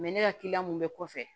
ne ka kiliyan mun bɛ kɔfɛ